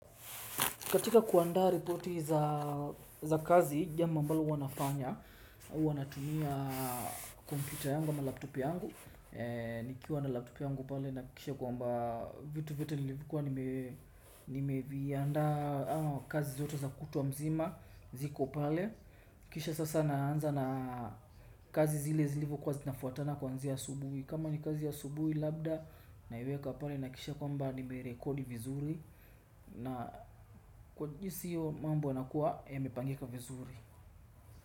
Katika kuanda reporti za kazi, jambo ambalo huwa nafanya, huwa natumia kompyuta yangu ama laptop yangu. Nikiwa na laptop yangu pale na kisha kwamba vitu vitu nilivukua nimevianda kazi zote za kutwa mzima ziko pale. Kisha sasa naanza na kazi zile zilivyokuwa zinafuatana kuanzia asubuhi. Kama ni kazi ya asubuhi labda naiweka pale nahakikisha kwamba nimerekodi vizuri. Na kwa jinsi iyo mambo yanakuwa yamepangeka vizuri.